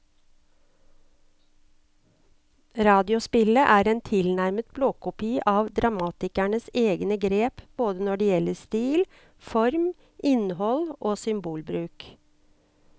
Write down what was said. Radiospillet er en tilnærmet blåkopi av dramatikerens egne grep både når det gjelder stil, form, innhold og symbolbruk.